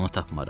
Onu tapmaram.